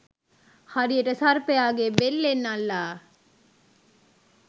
හරියට සර්පයාගේ බෙල්ලෙන් අල්ලා